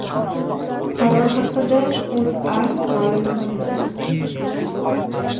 Qaror haqida O‘zA ma’lum qildi .